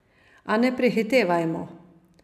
A ne prehitevajmo.